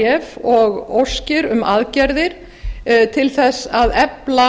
hvatningabréf og óskir um aðgerðir til að efla